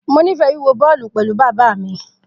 Mo nifẹ wiwo bọọlu pẹlu baba mi.